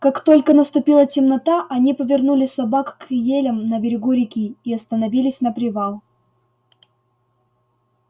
как только наступила темнота они повернули собак к елям на берегу реки и остановились на привал